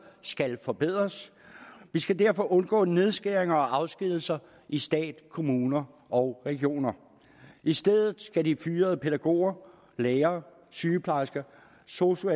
skal forbedres vi skal derfor undgå nedskæringer og afskedigelser i stat kommuner og regioner i stedet skal de fyrede pædagoger lærere sygeplejersker og sosu